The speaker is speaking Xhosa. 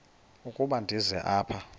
ukuba ndize apha